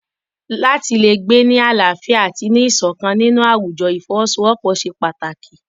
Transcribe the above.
Láti le gbé ní àlàáfíà àti ní ìṣọ̀kan nínú àwùjọ ìfọwọ́sowọ́pọ̀ ṣe pàtàkì.